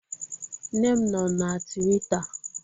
Nne m nọọ na Twịta